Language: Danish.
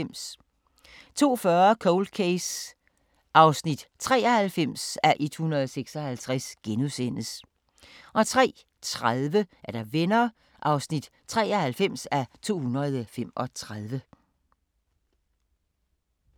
02:40: Cold Case (93:156)* 03:30: Venner (93:235)